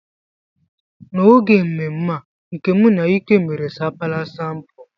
N'oge mmemme a, Nkem na Ike mere sapala sampul.